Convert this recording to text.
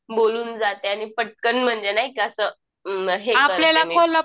बोलून जाते आणि पटकन म्हणजे नाही का असं अ हे